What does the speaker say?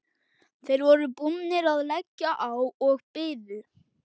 Þeir voru búnir að leggja á og biðu.